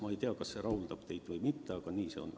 Ma ei tea, kas see rahuldab teid või mitte, aga nii see on.